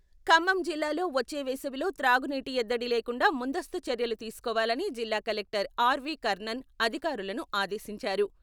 ఖమ్మం జిల్లాలో వచ్చే వేసవిలో త్రాగునీటి ఎద్దడి లేకుండా ముందస్తూ చర్యలు తీసుకోవాలని జిల్లా కలెక్టర్ ఆర్వి కర్ణన్ అధికారులను ఆదేశించారు.